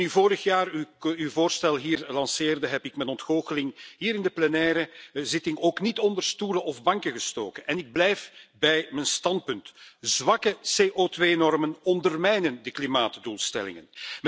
En toen u vorig jaar uw voorstel hier lanceerde heb ik mijn ontgoocheling hier in de plenaire zitting ook niet onder stoelen of banken gestoken en ik blijf bij mijn standpunt zwakke CO2 normen ondermijnen de klimaatdoelstellingen.